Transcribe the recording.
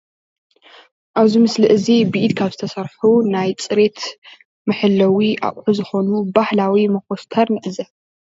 ኣብዚ ምስሊ እዚ ብኢድ ካብ ዝተሰርሑ ናይ ፅሬት መሕለዊ ኣቁሑ ዝኮኑ ባህላዊ መኮስተር ንዕዘብ።